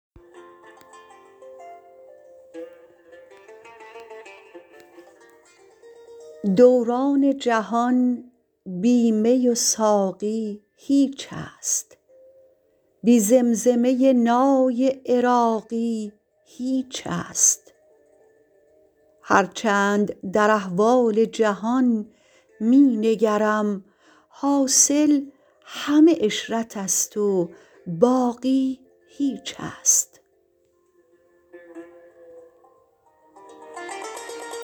دوران جهان بی می و ساقی هیچ است بی زمزمه نای عراقی هیچ است هر چند در احوال جهان می نگرم حاصل همه عشرت است و باقی هیچ است